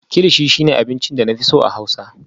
kilichi shine abincin da na fi so a Hausa